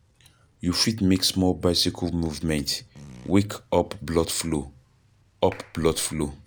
You fit make small bicycle movement, wake up blood flow, up blood flow